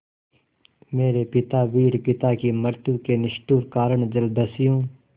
मेरे पिता वीर पिता की मृत्यु के निष्ठुर कारण जलदस्यु